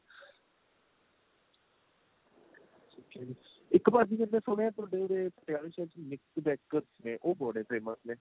ok ਇੱਕ ਭਾਜੀ ਮੈਨੇ ਸੁਣਿਆ ਤੁਹਾਡੇ ਉਰੇ ਪਟਿਆਲੇ ਚ nick bakers ਨੇ ਉਹ ਬੜੇ famous ਨੇ